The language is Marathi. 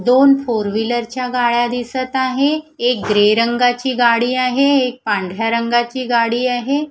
दोन फोर व्हीलर च्या गाड्या दिसत आहे एक ग्रे रंगाची गाडी आहे एक पांढऱ्या रंगाची गाडी आहे.